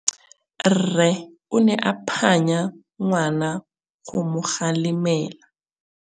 Rre o ne a phanya ngwana go mo galemela.